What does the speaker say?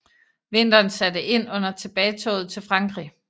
Vinteren satte ind under tilbagetoget til Frankrig